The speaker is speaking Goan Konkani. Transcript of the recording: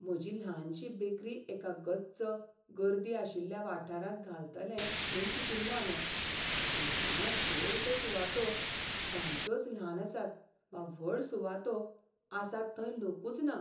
म्हजी ल्हानशी बेकरी एका गच्च, गर्दी आशिल्ल्या वाठारांत घालतलें म्हूण चिंतिल्लें हांवें, पूण हांगां चडश्यो सुवातो सामक्योच ल्हान आसात वा व्हड सुवातो आसात थंय लोकूच ना.